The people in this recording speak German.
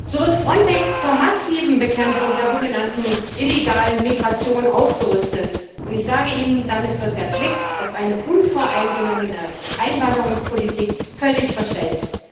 So wird Frontex zur massiven Bekämpfung der sogenannten illegalen Migration aufgerüstet, und damit wird der Blick auf eine unvoreingenommene Einwanderungspolitik völlig verstellt.